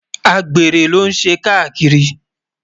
àgbèrè ló n ṣé kakírì